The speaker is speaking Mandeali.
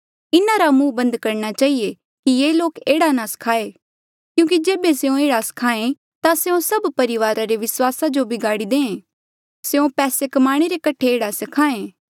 इन्हारा मुंह बन्द करणा चहिए कि ये लोक एह्ड़ा नी स्खायें क्यूंकि जेबे स्यों एह्ड़ा स्खायें ता स्यों सभ परिवारा रे विस्वासा जो बगाड़ी दे स्यों पैसे कमाणे रे कठे एह्ड़ा स्खायें